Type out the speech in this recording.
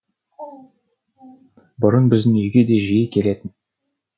бұрын біздің үйге де жиі келетін